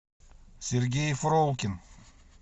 сергей фролкин